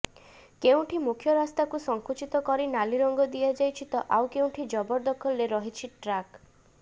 କେଉଁଠି ମୁଖ୍ୟ ରାସ୍ତାକୁ ସଙ୍କୁଚିତ କରି ନାଲି ରଙ୍ଗ ଦିଆଯାଇଛି ତ ଆଉ କେଉଁଠି ଜବରଦଖଲରେ ରହିଛି ଟ୍ରାକ